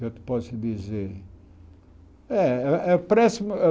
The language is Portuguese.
Já te posso dizer. Eh eh